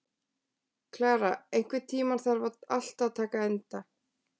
Klara, einhvern tímann þarf allt að taka enda.